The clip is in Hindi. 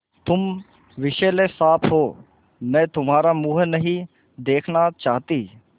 तुम विषैले साँप हो मैं तुम्हारा मुँह नहीं देखना चाहती